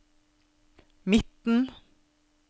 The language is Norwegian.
midten